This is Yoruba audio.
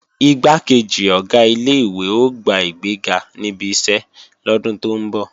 Igbákejì Ọ̀gá ilé-ìwé ó gba ìgbéga níbi iṣẹ́ lọ́dún tó ń bọ̀